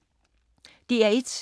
DR1